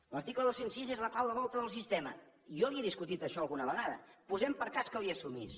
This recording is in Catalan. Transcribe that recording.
l’article dos cents i sis és la clau de volta del sistema jo li he discutit això alguna vegada posem per cas que li ho assumís